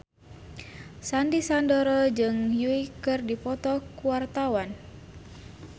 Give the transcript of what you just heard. Sandy Sandoro jeung Yui keur dipoto ku wartawan